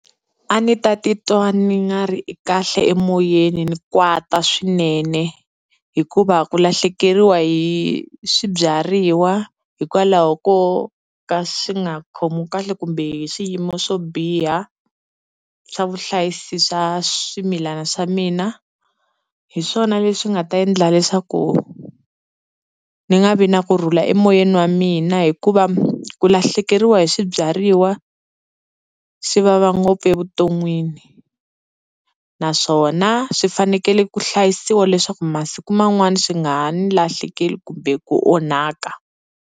A ndzi ta titwa ni nga ri kahle emoyeni ni kwata swinene hikuva ku lahlekeriwa hi swibyariwa hikwalaho ko ka swi nga khomiwi kahle kumbe hi swiyimo swo biha swa vuhlayisi swa swimilana swa mina, hi swona leswi nga ta endla leswaku ni nga vi na kurhula emoyeni wa mina. Hikuva ku lahlekeriwa hi swibyariwa swi vava ngopfu evuton'wini naswona swi fanekele ku hlayisiwa leswaku masiku man'wana swi nga ha ni lahlekeli kumbe ku onhaka.